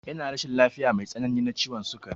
Yana rashin lafiya mai tsanani na ciwon sukari.